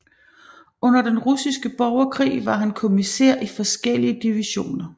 Under Den Russiske Borgerkrig var han kommissær i forskellige divisioner